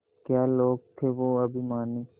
क्या लोग थे वो अभिमानी